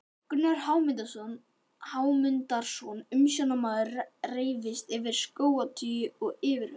Gunnar Hámundarson umsjónarmaður reifst yfir skótaui og yfirhöfnum.